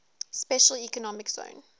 special economic zone